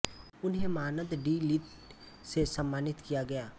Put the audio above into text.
उन्हें मानद D Litt से सम्मानित किया गया